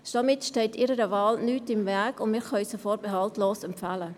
Somit steht ihrer Wahl nichts im Weg, und wir können sie vorbehaltlos empfehlen.